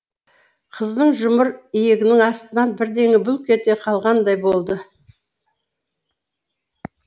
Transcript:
қыздың жұмыр иегінің астынан бірдеңе бүлк ете қалғандай болды